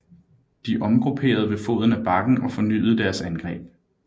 De omgrupperede ved foden af bakken og fornyede deres angreb